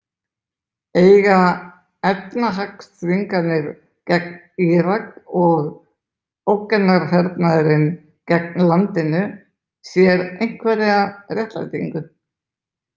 Eiga efnahagsþvinganir gegn Írak og ógnarhernaðurinn gegn landinu sér einhverja réttlætingu?